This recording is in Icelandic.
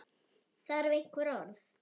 Þarf einhver orð?